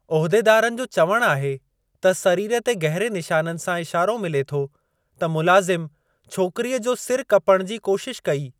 उहिदेदारनि जो चवणु आहे त सरीर ते गहरे निशाननि सां इशारो मिले थो त मुलाज़िमु छोकरीअ जो सिरु कपण जी कोशिशु कई।